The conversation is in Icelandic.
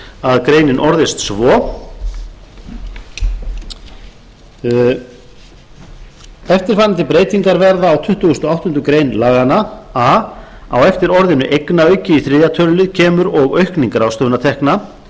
grein greinin orðist svo eftirfarandi breytingar verða á tuttugustu og áttundu grein laganna a á eftir orðinu eignaauki í þriðja tölulið kemur eða aukning ráðstöfunartekna